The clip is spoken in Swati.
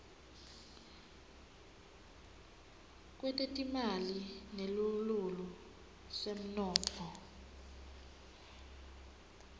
kwetetimali nesilulu semnotfo